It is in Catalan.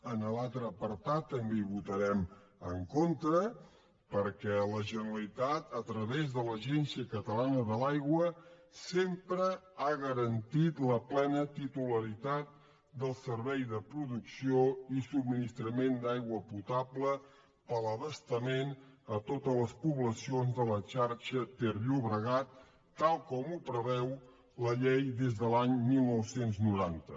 en l’altre apartat també hi votarem en contra perquè la generalitat a través de l’agència catalana de l’aigua sempre ha garantit la plena titularitat del servei de producció i subministrament d’aigua potable per a l’abastament a totes les poblacions de la xarxa terllobregat tal com preveu la llei des de l’any dinou noranta